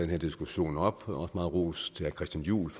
her diskussion op og rost herre christian juhl